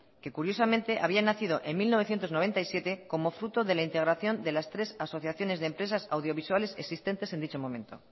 que curiosamente había nacido en mil novecientos noventa y siete como fruto de la integración de las tres asociaciones de empresas audiovisuales existentes en dicho momento